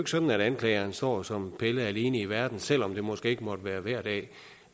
sådan at anklageren står som palle alene i verden selv om det måske ikke måtte være hver dag